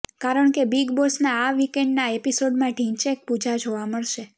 કારણ કે બિગ બોસના આ વિકેન્ડના એપિસોડમાં ઢિંચૈક પૂજા જોવા મળશે